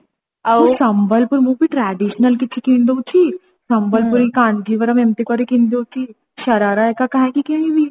ସମ୍ବଲପୁରୀ ମୁଁ ବି traditional କିଛି କିଣିଦଉଛି ସମ୍ବଲପୁରୀ କାଞ୍ଜିଭରମ ଏମିତି କରିକି କିଣି ଦଉଛି ଶରାରା ହେରିକା କାଇଁକି କିଣିବି